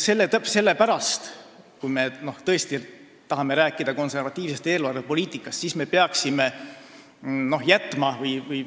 Sellepärast, kui me tõesti tahame rääkida konservatiivsest eelarvepoliitikast, peaksime me